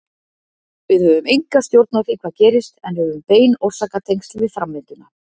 Við höfum enga stjórn á því hvað gerist en höfum bein orsakatengsl við framvinduna.